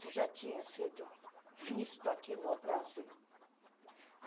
se já tinha sido visto aqui no Brasil.